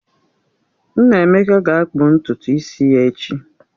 Nnaemeka ga-akpụ ntutu isi ya echi